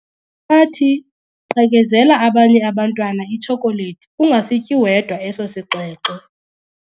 Unathi! Qhekezela abanye abantwana itshokolethi ungasityi wedwa eso sixwexwe.